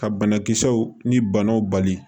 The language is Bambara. Ka banakisɛw ni banaw bali